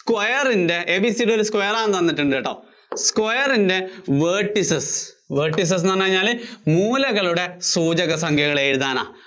square ന്‍റെ ABCD ഒരു square ആയിട്ട് തന്നിട്ടുണ്ടുട്ടോ, square ന്‍റെ vertices, vertices എന്ന് പറഞ്ഞുകഴിഞ്ഞാല് മൂലകളുടെ സൂചക സംഖ്യകള്‍ എഴുതാനാ